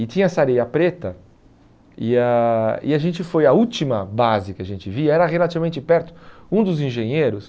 E tinha essa areia preta, e a e a gente foi à última base que a gente via, era relativamente perto, um dos engenheiros,